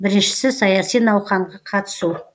біріншісі саяси науқанға қатысу